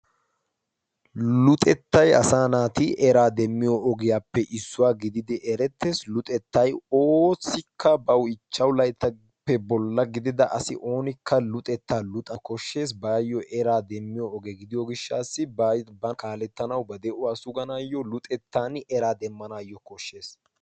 Luxettai asa naati eraa demmiyo ogiyaappe issuwaa gididi erettees luxettai oosikka bawu ichchashu layttappe bolla gidida asi oonikka luxettaa luxa koshshees baayyo eraa demmiyo ogee gidiyo gishshassi baaba kaalettanau ba de7uwaa suganaayyo luxettan eraa demmanaayyo koshshees.